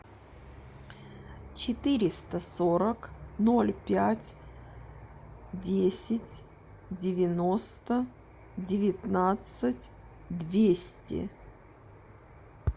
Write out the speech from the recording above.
четыреста сорок ноль пять десять девяносто девятнадцать двести